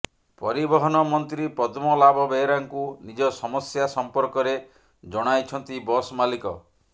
ପରିବହନ ମନ୍ତ୍ରୀ ପଦ୍ମନାଭ ବେହେରାଙ୍କୁ ନିଜ ସମସ୍ୟା ସମ୍ପର୍କରେ ଜଣାଇଛନ୍ତି ବସ୍ ମାଲିକ